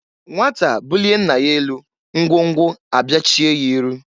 Nwata bulie nna ya elu, ngwo ngwo abịachie ya iru.